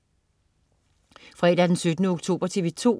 Fredag den 17. oktober - TV 2: